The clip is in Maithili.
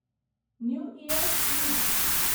न्यू इयर्स इव